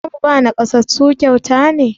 Za mu ba naƙasassu kyauta ne?